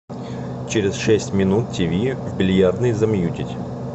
через шесть минут тиви в бильярдной замьютить